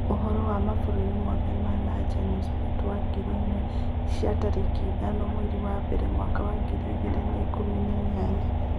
Uhoro wa Global Newsbeat wa ngiri ĩmwe cia tarĩki ithano mweri wa mbere mwaka wa ngiri igĩrĩ na ikũmi na inyanya.